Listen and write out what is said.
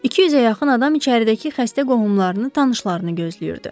200-ə yaxın adam içəridəki xəstə qohumlarını, tanışlarını gözləyirdi.